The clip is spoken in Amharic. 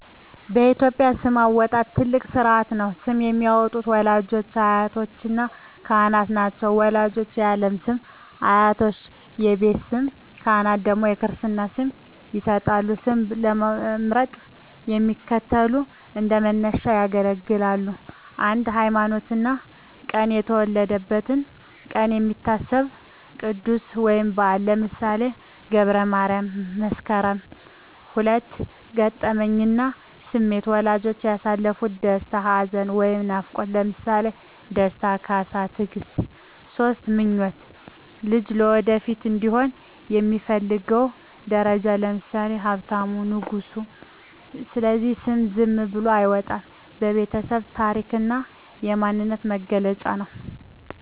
በኢትዮጵያ ስም አወጣጥ ትልቅ ሥርዓት ነው። ስም የሚያወጡት ወላጆች፣ አያቶችና ካህናት ናቸው። ወላጆች የዓለም ስም፣ አያቶች የቤት ስም፣ ካህናት ደግሞ የክርስትና ስም ይሰጣሉ። ስም ለመምረጥ የሚከተሉት እንደ መነሻ ያገለግላሉ 1)ሃይማኖትና ቀን የተወለደበት ቀን የሚታሰበው ቅዱስ ወይም በዓል (ለምሳሌ ገብረ ማርያም፣ መስከረም)። 2)ገጠመኝና ስሜት ወላጆች ያሳለፉት ደስታ፣ ሐዘን ወይም ናፍቆት (ለምሳሌ ደስታ፣ ካሳ፣ ትግስት)። 3)ምኞት ልጁ ወደፊት እንዲሆን የሚፈለገው ደረጃ (ለምሳሌ ሀብታሙ፣ ንጉሱ)። ስለዚህ ስም ዝም ብሎ አይወጣም፤ የቤተሰብ ታሪክና የማንነት መገለጫ ነው።